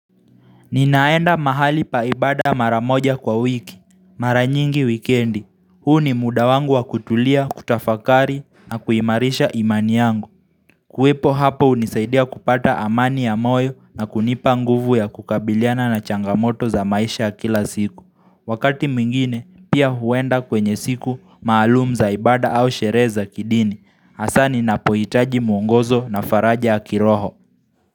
Ninaenda mahali pa ibada maramoja kwa wiki, maranyingi wikendi, huu ni muda wangu wa kutulia, kutafakari na kuimarisha imani yangu kuwepo hapo unisaidia kupata amani ya moyo na kunipa nguvu ya kukabiliana na changamoto za maisha kila siku Wakati mwingine, pia huenda kwenye siku maalumu zaibada au sherehe za kidini, hasa ni napoitaji muongozo na faraja yakiroho.